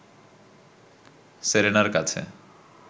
সেরেনার কাছে